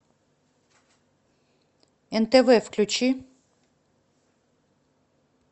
нтв включи